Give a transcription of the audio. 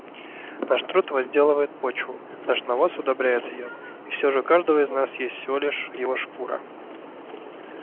наш труд возделывает почву наш навоз удобряет её и все же у каждого из нас есть всего лишь его шкура